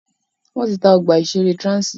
Wọ́n ti ta ọgbà ìṣẹ̀rẹ́ Transi.